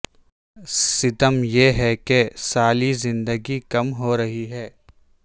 ستم یہ ہے کہ سالی زندگی کم ہورہی ہے